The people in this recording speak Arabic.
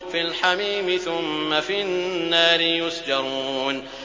فِي الْحَمِيمِ ثُمَّ فِي النَّارِ يُسْجَرُونَ